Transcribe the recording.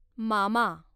मामा